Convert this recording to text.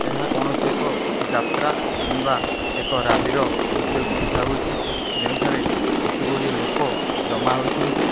ଏହା କୌଣସି ଏକ ଯାତ୍ରା କିମ୍ବା ଏକ ରାଲି ର ଦୃଶ୍ୟକୁ ବୁଝାଉ ଅଛି ଯେଉଁଠାରେ କିଛି ଗୁଡ଼ିଏ ଲୋକ ଜମା ହୋଇଛନ୍ତି।